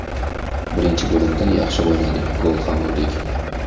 Birinchi bo‘limda yaxshi o‘ynadik, gol ham urdik.